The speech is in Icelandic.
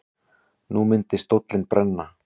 Nú myndi stóllinn brenna.